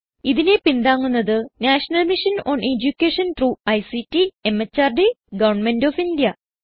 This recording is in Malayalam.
ഇതിനെ പിന്താങ്ങുന്നത് national mission on education through ICT MHRD government of India